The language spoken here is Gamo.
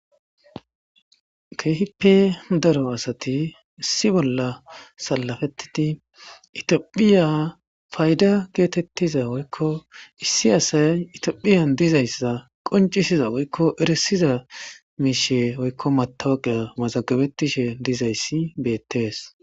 keehippe daro asati issi bolla salafettidi itphiya fayda geetettiza woykko issi asay itphiyan dizayssa qoncishiza woykko eresiza miishe woykko matawaqiya masagabetishe dizayssi beettees